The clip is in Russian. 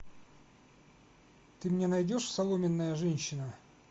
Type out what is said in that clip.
ты мне найдешь соломенная женщина